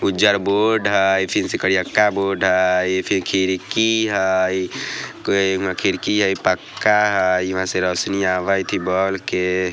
उज्जर बोर्ड हइ फिर से करियक्का बोर्ड हइ फिर खिड़की हइ कोइ इमे खिड़की हइ पक्का हइ यहाँ से रोशनी आवत हाई बॉल के।